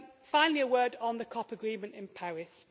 Finally, a word on the COP agreement in Paris.